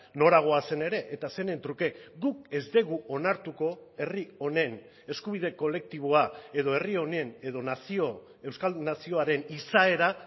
nora goazen ere eta zeren truke guk ez dugu onartuko herri honen eskubide kolektiboa edo herri honen edo nazio euskaldun nazioaren izaera